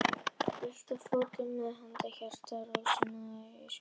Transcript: Völt á fótum, með hamrandi hjarta, fór Rósa og náði í hatt, skikkju, staf.